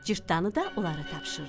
Cırtdanı da onlara tapşırdı.